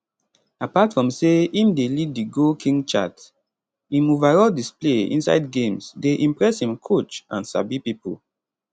apart from say im dey lead di goal king chart im overall display inside games dey impress im coach and sabi pipo